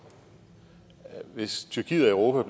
hvis tyrkiet og